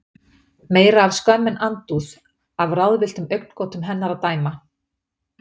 Meira af skömm en andúð, af ráðvilltum augnagotum hennar að dæma.